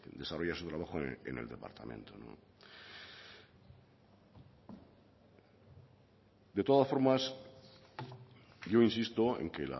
desarrolla su trabajo en el departamento de todas formas yo insisto en que